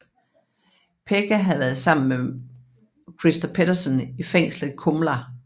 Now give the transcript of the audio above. Pekka havde været sammen med Christer Petterson i fængslet Kumla